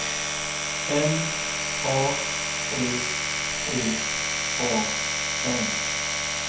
M A T T A N